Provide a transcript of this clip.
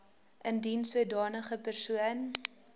indien sodanige persoon